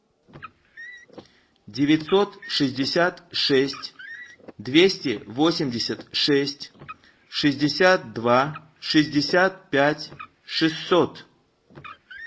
девятьсот шестьдесят шесть двести восемьдесят шесть шестьдесят два шестьдесят пять шестьсот